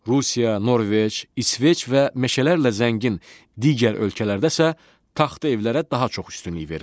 Rusiya, Norveç, İsveç və meşələrlə zəngin digər ölkələrdə isə taxta evlərə daha çox üstünlük verirlər.